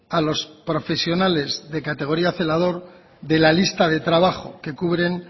a los profesionales de categoría celador de la lista de trabajo que cubren